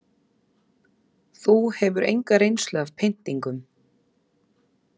Þú hefur enga reynslu af pyntingum.